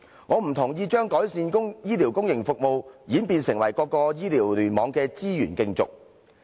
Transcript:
我不同意將改善公營醫療服務演變成各個醫療聯網的資源競逐。